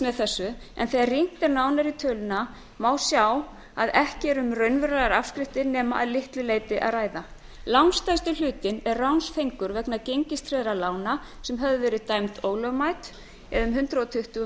með þessu en þegar rýnt er nánar í töluna má sjá að ekki er um að ræða raunverulegar afskriftir nema að litlu leyti langstærsti hlutinn er ránsfengur vegna gengistryggðra lána sem höfðu verið dæmd ólögmæt það er um hundrað tuttugu